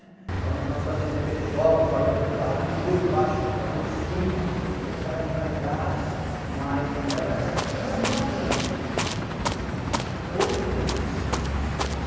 Então nós fazíamos aqueles jogos, valendo tubaína, rua de baixo contra a rua de cima e aquela rivalidade, mas era bem bacana de outros tempos, né?